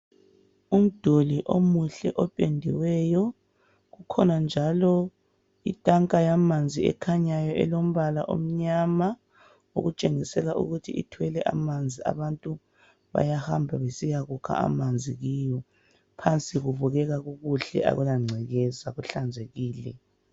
Umduli omuhle ophendiweyo kukhona njalo ithanka yamanzi ekhanyayo elombala onyama okutshengisela ukuthi ithwele amanzi abantu bayahamba besiyakukha amanzi kiwo phansi kububeka ukukuhle akulangcekeza kuhlanzekile